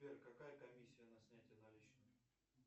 сбер какая комиссия на снятие наличных